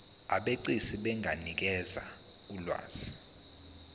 abegcis benganikeza ulwazi